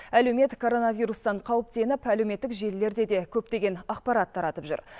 әлеумет коронавирустан қауіптеніп әлеуметтік желілерде де көптеген ақпарат таратып жүр